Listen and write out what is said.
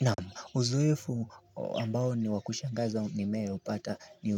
Na uzoefu ambao ni wakushangaza ni meaupata ni